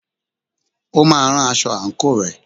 O máa rán aṣọ àǹkóò rẹ̀.